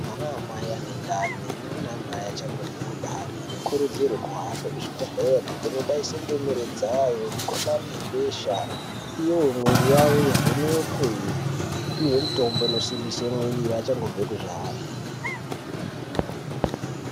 Anamai anendani neanamai achangobve kubare anokurudzirwe kuhambe kuzvibhehleya kunobaise ndumure dzawo mikhuhlani yebesha iyo miri yawo ivhenekwe vapiwe mitombo inosimbise mwiri vachangobve kuzvare.